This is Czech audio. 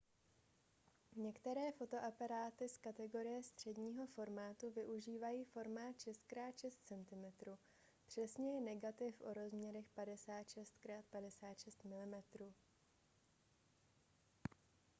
některé fotoaparáty z kategorie středního formátu využívají formát 6 × 6 cm přesněji negativ o rozměrech 56 × 56 mm